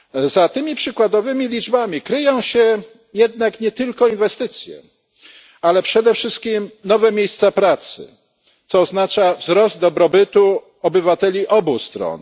Za tymi przykładowymi liczbami kryją się jednak nie tylko inwestycje, ale przede wszystkim nowe miejsca pracy, co oznacza wzrost dobrobytu obywateli obu stron.